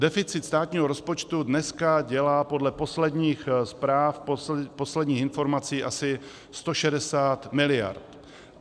Deficit státního rozpočtu dneska dělá podle posledních zpráv, posledních informací, asi 160 miliard.